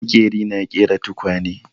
Maƙeri na ƙera tukwane.